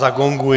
Zagonguji.